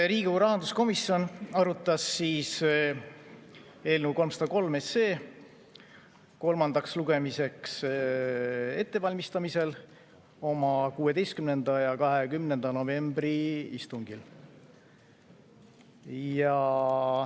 Riigikogu rahanduskomisjon arutas eelnõu 303 kolmandaks lugemiseks ettevalmistamisel oma 16. ja 20. novembri istungil.